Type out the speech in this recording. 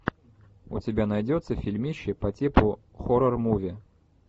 у тебя найдется фильмище по типу хоррор муви